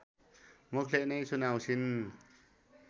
मुखले नै सुनाउँछिन्